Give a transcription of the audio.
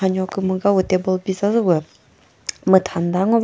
nyo kümüga pü table bizazü püh mütha müta ngo va.